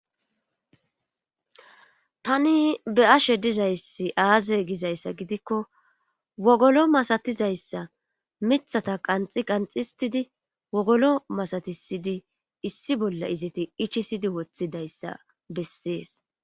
Tani be ashe dizayssi aaze gizayssa gidikko wogolo masatizayssa mithata qanxi qanxistidi wogolo masatisidi issi bolla iziti ichisidi woththidayssa bessees.